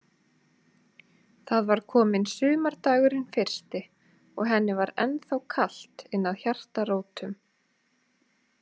Það var kominn sumardagurinn fyrsti og henni var ennþá kalt innað hjartarótum.